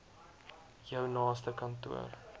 jou naaste kantoor